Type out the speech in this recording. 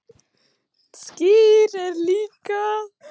Skyr er líka